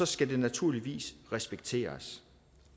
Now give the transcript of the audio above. skal det naturligvis respekteres